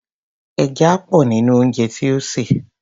ẹja pọ̀ nínú ounjẹ tí o sè.